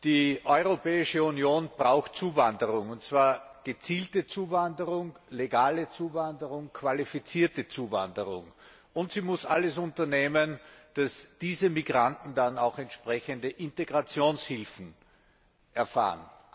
Die Europäische Union braucht Zuwanderung, und zwar gezielte Zuwanderung, legale Zuwanderung, qualifizierte Zuwanderung. Und sie muss alles unternehmen, damit diese Migranten dann auch entsprechende Integrationshilfen erhalten.